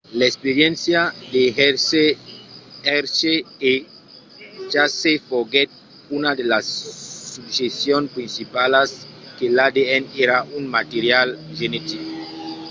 l'experiéncia de hershey e chase foguèt una de las suggestions principalas que l'adn èra un material genetic